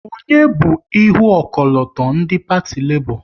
Onye bu ihu ọkọlọtọ ndị Parti Lebọ?